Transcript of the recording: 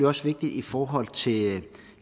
også vigtigt i forhold til